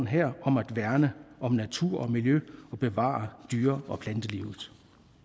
her om at værne om natur og miljø og bevare dyre og plantelivet